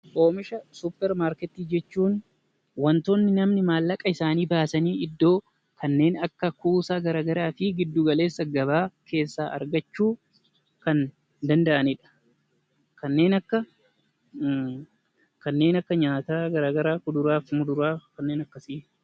Oomisha supper markettii jechuun wanta dhalli namaa maallaqa isaanii baasanii iddoo kuusaa garagaraa fi gidduu galeessa gabaa keessaa argachuu danda'anidha. Isaanis kanneen akka kuduraa fi muduraa ta'uu danda'a.